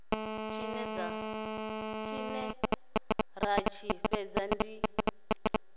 tshine dza tshi fhedza dzi